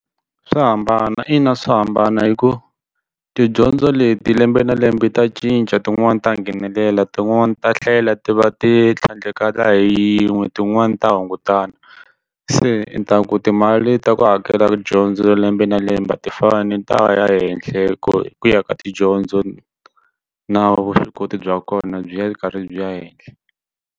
Swa hambana i na swa hambana hi ku tidyondzo leti lembe na lembe ta cinca tin'wani ta nghenelela tin'wani ta tlhela ti va ti tlhandlekala hi yin'we tin'wani ta hungutana se i ta ku timali ta ku hakela dyondzo lembe na lembe a ti fani ta ya henhle ku hi ku ya ka tidyondzo na vuswikoti bya kona byi ya karhi byi ya henhla.